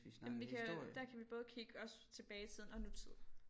Jamen vi kan der kan vi både kigge også tilbage i tiden og nutid